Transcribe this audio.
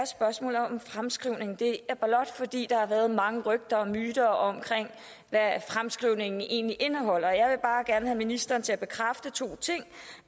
om fremskrivningen det er blot fordi der har været mange rygter og myter om hvad fremskrivningen egentlig indeholder og jeg vil bare gerne have ministeren til at bekræfte to ting